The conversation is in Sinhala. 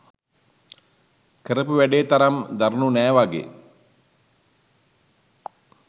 කරපු වැඩේ තරම් දරුණු නෑ වගේ